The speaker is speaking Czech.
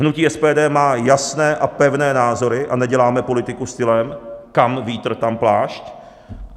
Hnutí SPD má jasné a pevné názory a neděláme politiku stylem kam vítr, tam plášť.